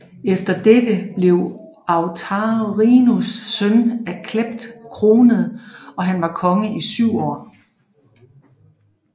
Efter dette blev Autarinus søn af Cleph kronet og han var konge i syv år